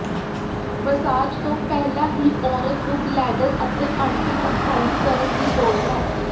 massage ਤੋਂ ਪਹਿਲਾਂ ਹੀ ਔਰਤ ਨੂੰ ਬਲੈਡਰ ਅਤੇ ਆਂਟੀ ਨੂੰ ਖਾਲੀ ਕਰਨ ਦੀ ਲੋੜ ਹੈ